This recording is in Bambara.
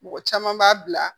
Mɔgɔ caman b'a bila